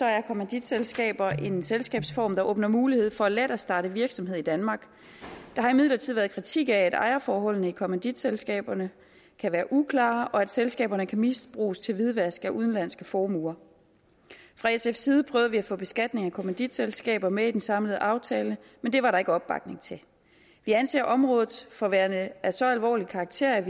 er kommanditselskaber en selskabsform der åbner mulighed for let at starte virksomhed i danmark der har imidlertid været kritik af at ejerforholdene i kommanditselskaberne kan være uklare og at selskaberne kan misbruges til hvidvask af udenlandske formuer fra sfs side prøvede vi at få beskatningen af kommanditselskaber med i den samlede aftale men det var der ikke opbakning til vi anser området for værende af så alvorlig karakter at